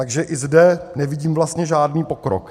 Takže ani zde nevidím vlastně žádný pokrok.